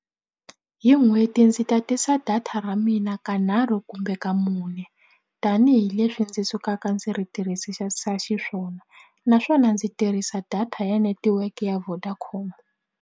Hi n'hweti ndzi tatisa data ra mina kanharhu kumbe ka mune tanihileswi ndzi sukaka ndzi ri xiswona naswona ndzi tirhisa data ya netiweke ya Vodacom.